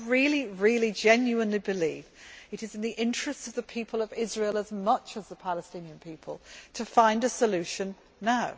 I genuinely believe it is in the interests of the people of Israel as much as of the Palestinian people to find a solution now.